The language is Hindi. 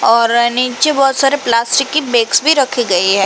और नीचे बहोत सारी प्लास्टिक की बेग्स भी रखी गए है।